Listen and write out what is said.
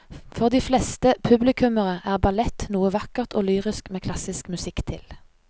For de fleste publikummere er ballett noe vakkert og lyrisk med klassisk musikk til.